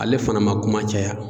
Ale fana man kuma caya.